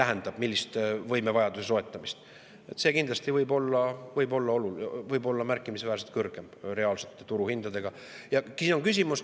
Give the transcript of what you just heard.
See reaalne turuhind võib kindlasti olla märkimisväärselt kõrgem.